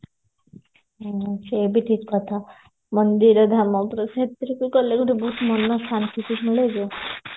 ହଁ ସେ ବି ଠିକ କଥା ମନ୍ଦିର ଧାମ ବହୁତ ମନ ଶାନ୍ତି ବି ମିଳେ ଯେ